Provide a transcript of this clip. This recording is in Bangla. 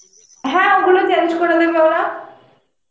হ্যাঁ ওগুলো change করে দেবে ওরা